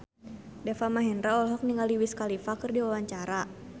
Deva Mahendra olohok ningali Wiz Khalifa keur diwawancara